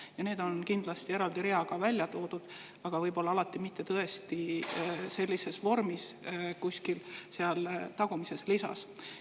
Ja need on kindlasti eraldi reaga välja toodud, aga võib-olla alati mitte tõesti sellises vormis kuskil tagumises lisas.